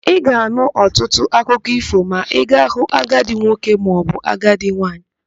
Ị ga-anụ ọtụtụ akụkọ ífò ma ị ga-hụ agadị nwoke maọbụ agadị nwaanyị.